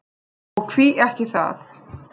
Og því ekki það.